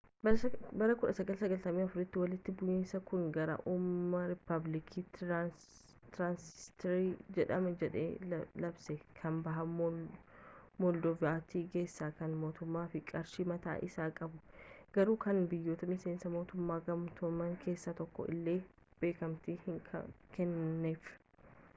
bara 1994tti walitti bu'iinsi kun gara uumamuu riippaabilikii tiraansinistriyaa jedhama jedhee labse kan baha moldoovaatti geesse kan mootummaa fi qarshii mataa isii qabdu garuu kan biyyoota miseensa mootummoota gamtoomanii keessaa tokkoon illee beekamtiin hin kennaminiif